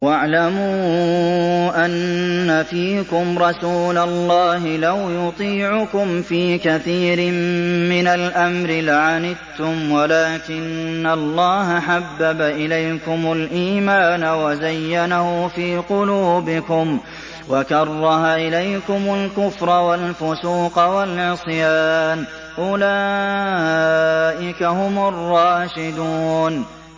وَاعْلَمُوا أَنَّ فِيكُمْ رَسُولَ اللَّهِ ۚ لَوْ يُطِيعُكُمْ فِي كَثِيرٍ مِّنَ الْأَمْرِ لَعَنِتُّمْ وَلَٰكِنَّ اللَّهَ حَبَّبَ إِلَيْكُمُ الْإِيمَانَ وَزَيَّنَهُ فِي قُلُوبِكُمْ وَكَرَّهَ إِلَيْكُمُ الْكُفْرَ وَالْفُسُوقَ وَالْعِصْيَانَ ۚ أُولَٰئِكَ هُمُ الرَّاشِدُونَ